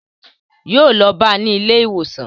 Yóò lọ bá ní ilé ìwòsàn